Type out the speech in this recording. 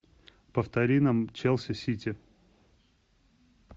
повтори нам челси сити